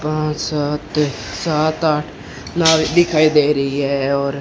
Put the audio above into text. पांच सात सात आठ नाव दिखाई दे रही है और--